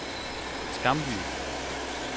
Skamby